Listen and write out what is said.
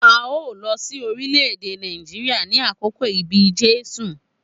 A o lọ sí orílẹ̀-èdè Nàìjíríà ni àkókò ibi Jésù.